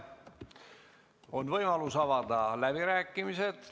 On võimalus avada läbirääkimised.